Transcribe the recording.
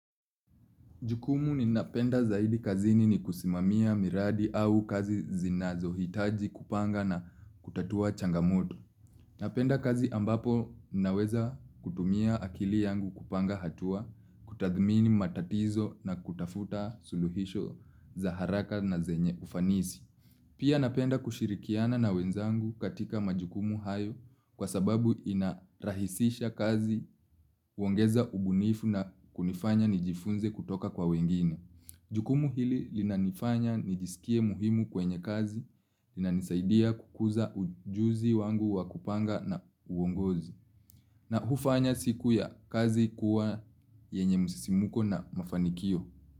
Jukumu ninapenda zaidi kazini ni kusimamia miradi au kazi zinazo hitaji kupanga na kutatua changamoto. Napenda kazi ambapo naweza kutumia akili yangu kupanga hatua, kutathmini matatizo na kutafuta suluhisho za haraka na zenye ufanisi. Pia napenda kushirikiana na wenzangu katika majukumu hayo kwa sababu inarahisisha kazi uongeza ubunifu na kunifanya nijifunze kutoka kwa wengine. Jukumu hili linanifanya nijisikie muhimu kwenye kazi, linanisaidia kukuza ujuzi wangu wakupanga na uongozi. Na hufanya siku ya kazi kuwa yenye musisimuko na mafanikio.